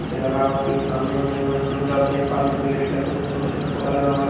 पीछे लगा हुआ स्क्रीन के सामने में एक टप देख पा रहे हैं जिसने छोटे छोटे पौधे लगे हुए हैं।